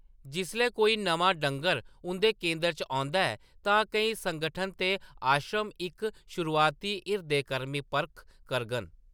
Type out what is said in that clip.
जिसलै कोई नमां डंगर उंʼदे केंदर च औंदा ऐ तां केईं संगठन ते आश्रय इक शुरुआती हिरदे-कृमि परख करङन।